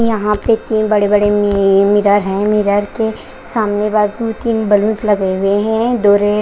यहां पे तीन बड़े बड़े मि मिरर हैं मिरर के सामने बाजू तीन बलूंस लगे हुए हैं डोरे--